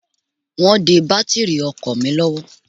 Wọ́n de bátìrì ọkọ̀ mi lọ́wọ́.